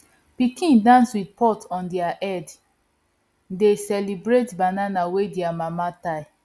pikin dance with pot on top their head dey celebrate banana wey their mama tie